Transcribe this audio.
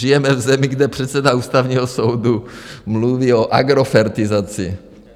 Žijeme v zemi, kde předseda Ústavního soudu mluví o agrofertizaci.